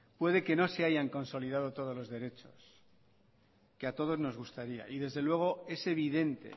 puede que no se hayan consolidado todos los derechos que a todos nos gustaría y desdeluego es evidente